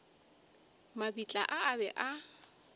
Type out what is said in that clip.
mabitla a a be a